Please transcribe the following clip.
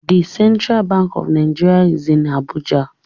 The Central Bank of Nigeria is in Abuja